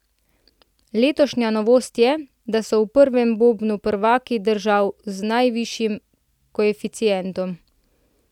Letošnja novost je, da so v prvem bobnu prvaki držav z najvišjim koeficientom.